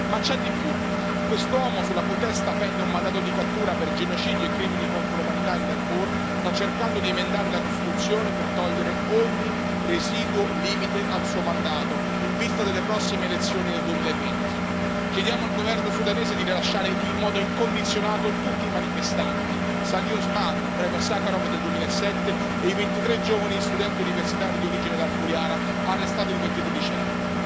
Ma c'è di più, quest'uomo, sulla cui testa pende un mandato di cattura per genocidio e crimini contro l'umanità in Darfur, sta cercando di emendare la Costituzione per togliere ogni residuo limite al suo mandato, in vista delle prossime elezioni del 2020. Chiediamo al governo sudanese di rilasciare in modo incondizionato tutti i manifestanti, Salih Osman, premio Sacharov del 2007, e i 23 giovani studenti universitari di origine darfuriana, arrestati il 23 dicembre.